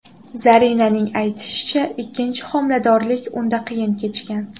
Zarinaning aytishicha, ikkinchi homiladorlik unda qiyin kechgan.